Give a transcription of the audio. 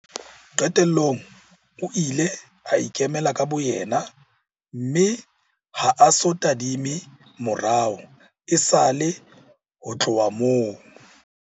Qetellong o ile a ikemela ka boyena mme ha a so tadime morao esale ho tloha moo.